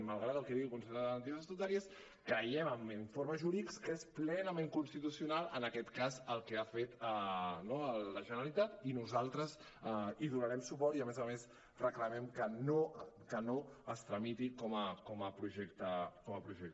malgrat el que digui el consell de garanties estatutàries creiem amb informes jurídics que és plenament constitucional en aquest cas el que ha fet no la generalitat i nosaltres hi donarem suport i a més a més reclamem que no es tramiti com a projecte de llei